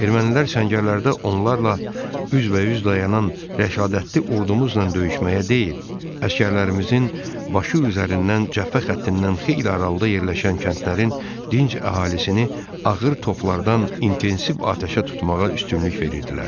Ermənilər səngərlərdə onlarla üzbəüz dayanan rəşadətli ordumuzla döyüşməyə deyil, əsgərlərimizin başı üzərindən cəbhə xəttindən xeyli aralıda yerləşən kəndlərin dinc əhalisini ağır toplardan intensiv atəşə tutmağa üstünlük verirdilər.